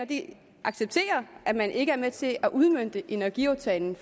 accepterer at man ikke er med til at udmønte energiaftalen